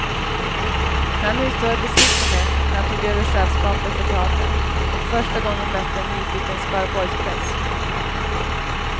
Men han utstrålade beslutsamhet när han tog över chefskapet för teatern och första gången mötte en nyfiken skaraborgspress.